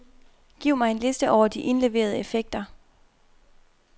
Giv mig en liste over de indleverede effekter.